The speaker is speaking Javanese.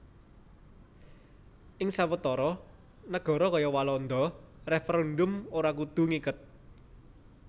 Ing sawetara nagara kaya Walanda referendum ora kudu ngiket